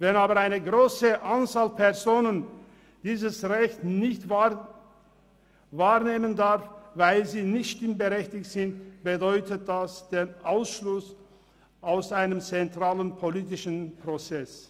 Wenn aber eine grosse Anzahl von Personen dieses Recht nicht wahrnehmen dürfen, weil sie nicht stimmberechtigt sind, bedeutet dies den Ausschluss aus einem zentralen politischen Prozess.